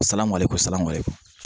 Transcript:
Salamale ko sala